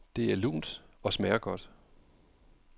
Det er lunt og smager godt.